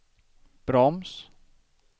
broms